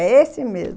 É esse mesmo.